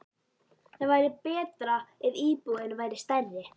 Það væri betra ef íbúðin væri stærri.